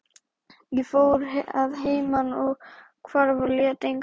Ég fór að heiman, ég hvarf og lét engan vita.